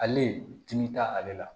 Ale timi t'ale la